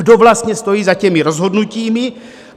Kdo vlastně stojí za těmi rozhodnutími?